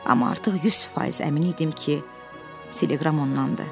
Amma artıq 100% əmin idim ki, teleqram ondadı.